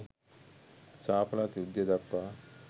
ශාපලත් යුද්ධය දක්වා